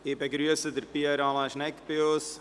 Ich begrüsse Pierre Alain Schnegg bei uns.